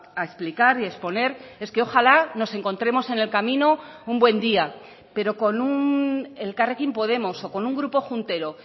a explicar y exponer es que ojalá nos encontremos en el camino un buen día pero con elkarrekin podemos o con un grupo juntero